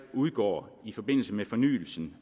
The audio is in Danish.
udgår i forbindelse med fornyelse